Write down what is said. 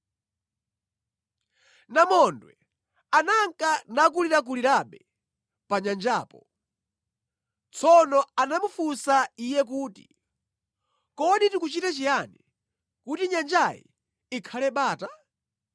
Namondwe ananka nakulirakulirabe pa nyanjapo. Tsono anamufunsa iye kuti, “Kodi tikuchite chiyani kuti nyanjayi ikhale bata?”